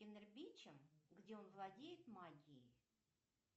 инэрбичем где он владеет магией